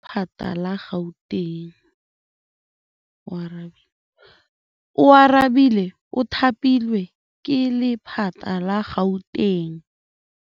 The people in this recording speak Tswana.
Oarabile o thapilwe ke lephata la Gauteng.